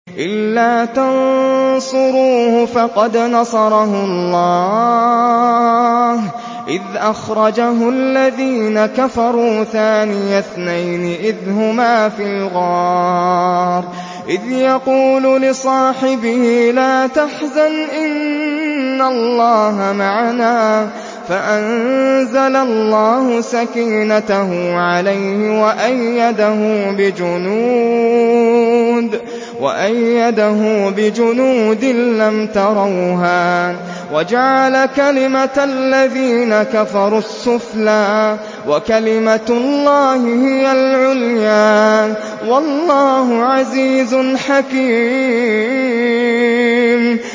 إِلَّا تَنصُرُوهُ فَقَدْ نَصَرَهُ اللَّهُ إِذْ أَخْرَجَهُ الَّذِينَ كَفَرُوا ثَانِيَ اثْنَيْنِ إِذْ هُمَا فِي الْغَارِ إِذْ يَقُولُ لِصَاحِبِهِ لَا تَحْزَنْ إِنَّ اللَّهَ مَعَنَا ۖ فَأَنزَلَ اللَّهُ سَكِينَتَهُ عَلَيْهِ وَأَيَّدَهُ بِجُنُودٍ لَّمْ تَرَوْهَا وَجَعَلَ كَلِمَةَ الَّذِينَ كَفَرُوا السُّفْلَىٰ ۗ وَكَلِمَةُ اللَّهِ هِيَ الْعُلْيَا ۗ وَاللَّهُ عَزِيزٌ حَكِيمٌ